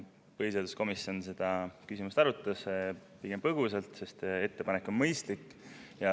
Põhiseaduskomisjon arutas seda küsimust pigem põgusalt, sest ettepanek on mõistlik.